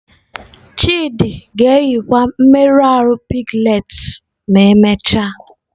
Chidi ga-eyikwa mmerụ ahụ piglets ma emechaa.